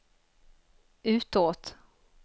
utåt